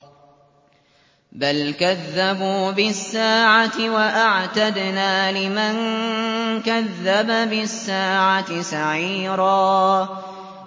بَلْ كَذَّبُوا بِالسَّاعَةِ ۖ وَأَعْتَدْنَا لِمَن كَذَّبَ بِالسَّاعَةِ سَعِيرًا